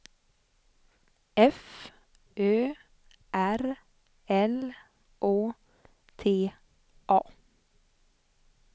F Ö R L Å T A